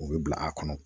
U bɛ bila a kɔnɔ